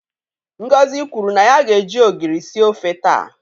Ngozi kwuru na ya ga-eji ogiri sie ofe taa.